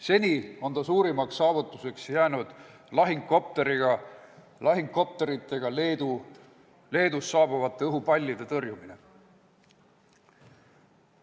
Seni on tema suurimaks saavutuseks jäänud lahingukopteritega Leedust saabuvate õhupallide tõrjumine.